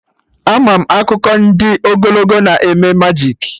Ama m akụkọ ndị ogologo na eme majik